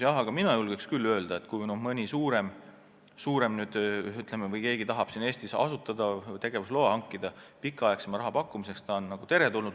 Aga mina julgen küll öelda, et kui mõni suurem tegija tahab siin Eestis hankida tegevusloa pikaajalisema laenu pakkumiseks, siis ta on teretulnud.